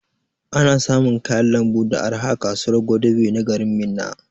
Ana samun kayan lambu da arha a kasuwar Gwadabe na garin Minna